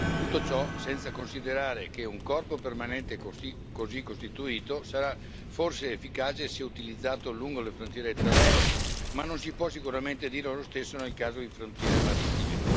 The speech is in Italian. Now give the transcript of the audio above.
Tutto ciò senza considerare che un corpo permanente così costituito sarà forse efficace se utilizzato lungo le frontiere terrestri, ma non si può sicuramente dire lo stesso nel caso di frontiere marittime.